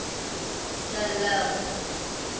de lille